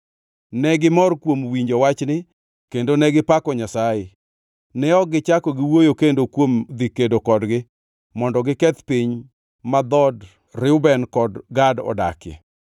Negimor kuom winjo wachni kendo negipako Nyasaye. Ne ok gichako giwuoyo kendo kuom dhi kedo kodgi mondo giketh piny ma dhood Reuben kod Gad odakie.